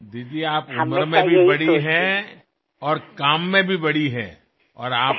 दीदी आपण वयानेही माझ्यापेक्षा मोठ्या आहात आणि कर्तृत्वाने सुद्धा मोठ्या आहात